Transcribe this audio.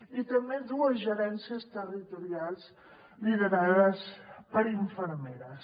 i també dues gerències territorials liderades per infermeres